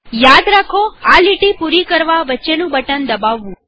યાદ રાખોઆ લીટી પૂરી કરવા વચ્ચેનું બટન દબાવવું